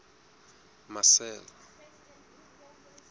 marcel